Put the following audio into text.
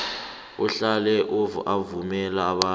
ahlale avumela abanye